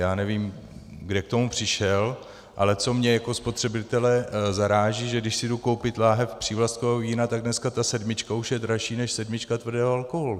Já nevím, kde k tomu přišel, ale co mě jako spotřebitele zaráží, že když si jdu koupit láhev přívlastkového vína, tak dneska ta sedmička už je dražší než sedmička tvrdého alkoholu.